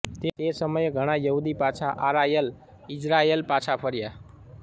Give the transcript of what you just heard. તે સમયે ઘણાં યહૂદી પાછા આરાયલઈઝરાયલ પાછા ફર્યાં